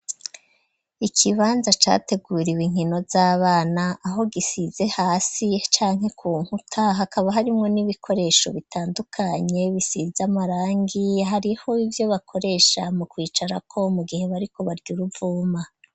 Ikibanza, categuriwe inkino z'abana, aho gisize, hasi canke ku nkuta; hakaba harimwo, n'ibikoresho bitandukanye, bisize amarangi; hariho ivyo bakoresha, mu kwicarako, mu gihe bariko barya, uruvuma.